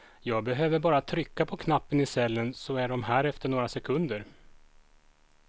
Jag behöver bara trycka på knappen i cellen så är de här efter några sekunder.